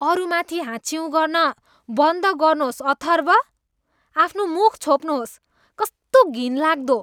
अरूमाथि हाच्छिउँ गर्न बन्द गर्नुहोस् अथर्भ। आफ्नो मुख छोप्नुहोस्। कस्तो घिनलाग्दो!